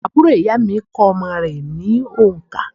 Àbúrò ìyá à mi kó omo rè ní ònkà